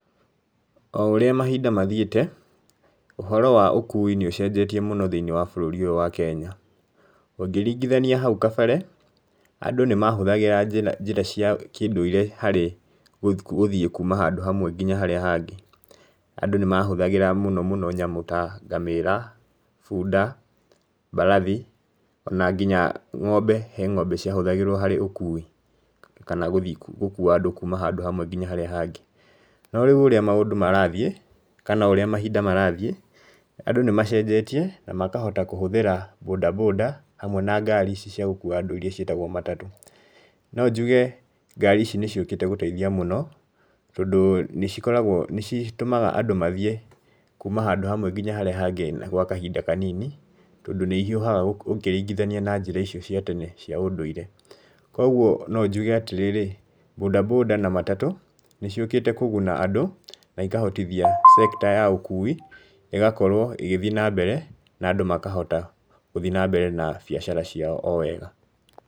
O ũrĩa mahinda mathiĩte, ũhoro wa ũkui nĩ ũcenjetie mũno thĩinĩ wa bũrũri ũyũ wa kenya, ũngĩringithania hau kabere, andũ nĩ mahũthagĩra njĩra njĩra cia kĩndũire harĩ gũthiĩ kuuma handũ hamwe nginya harĩa hangĩ, andũ nĩ mahũthagĩra mũno mũno nyamũ ta ngamĩra, bunda, mbarathi, ona nginya ng'ombe he ng'ombe ciahũthagĩrwo harĩ ũkui, kana gũthiĩ gũkuua andũ kuuma handũ hamwe nginya harĩa hangĩ. No rĩu ũrĩa maũndũ marathiĩ, kana o ũrĩa mahinda marathiĩ, andũ nĩ macenjetie na makahota kũhũthĩra bodaboda hamwe na ngaari ici ciagũkua andũ iria ciĩtagwo matatũ. No njuge ngaari ici nĩ ciũkĩte gũteithia mũno, tondũ nĩ cikoragwo nĩ citũmaga andũ mathiĩ kuuma handũ hamwe nginya harĩa hangĩ gwa kahinda kanini, tondũ nĩ ihiũhaga ũkĩringithania na njĩra icio cia tene cia ũndũire. Koguo no njuge atĩrĩrĩ, bodaboda na matatũ, nĩ ciũkĩte kũguna andũ na ikahotithia sector ya ũkui ĩgakorwo ĩgĩthiĩ na mbere na andũ makahota gũthiĩ na mbere na biacara ciao o wega.